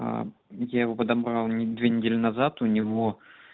а я его подобрал не две недели назад у него